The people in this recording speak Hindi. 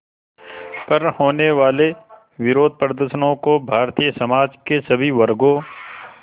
पर होने वाले विरोधप्रदर्शनों को भारतीय समाज के सभी वर्गों